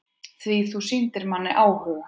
Því þú sýndir manni áhuga.